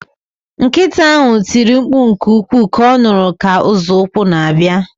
Nkịta ahụ tiri mkpu nke ukwuu ka ọ nụrụ ka nzọụkwụ na-abịa